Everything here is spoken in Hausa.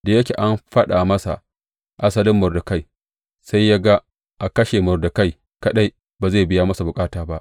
Da yake an faɗa masa asalin Mordekai, sai ya ga a kashe Mordekai kaɗai ba zai biya masa bukata ba.